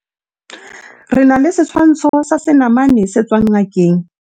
re na le setshwantsho sa senamane se tswang ngakeng